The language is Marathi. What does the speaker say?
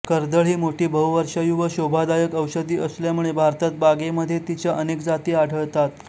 कर्दळ ही मोठी बहुवर्षायू व शोभादायक ओषधी असल्यामुळे भारतात बागेमध्ये तिच्या अनेक जाती आढळतात